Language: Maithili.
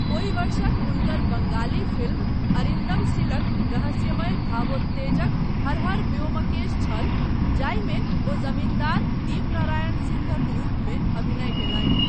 ओहि वर्षक हुनकर बङ्गाली फिल्म अरिन्दम सिलक रहस्यमय भावोत्तेजक हर हर ब्योमकेश छल जाहिमे ओ जमीन्दार दीपनारायण सिंहक रूपमे अभिनय कयलनि।